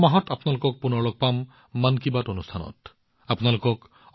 অহা মাহত আপোনালোকৰ সৈতে আকৌ এবাৰ মন কী বাতত সাক্ষাৎ হব